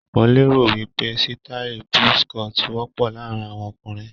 Mo lérò wí pé sítáì buzz cut wọ́pọ̀ láàárín àwọn ọkùnrin.